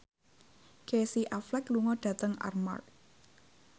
Casey Affleck lunga dhateng Armargh